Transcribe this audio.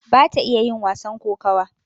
bata iya yin wasan kokawa